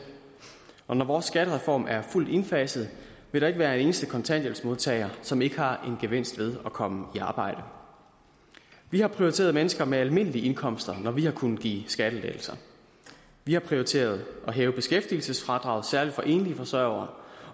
og når vores skattereform er fuldt indfaset vil der ikke være en eneste kontanthjælpsmodtager som ikke har en gevinst ved at komme i arbejde vi har prioriteret mennesker med almindelige indkomster når vi har kunnet give skattelettelser vi har prioriteret at hæve beskæftigelsesfradraget særlig for enlige forsørgere